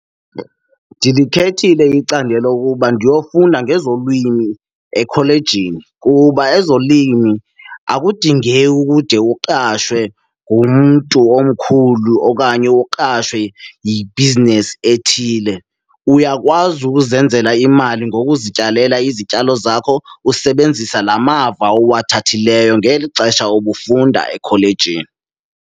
Ndilikhethile icandelo ukuba ndiyofunda ngezolwimi ekholejini kuba ezolimo akudingeki ukude uqashwe ngumntu omkhulu okanye uqashwe yi-business ethile, uyakwazi ukuzenzela imali ngokuzityalela izityalo zakho usebenzisa la mava uwathathileyo ngeli xesha ubufunda ekholejini.